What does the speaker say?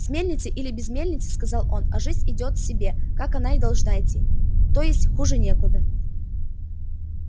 с мельницей или без мельницы сказал он а жизнь идёт себе как она и должна идти то есть хуже некуда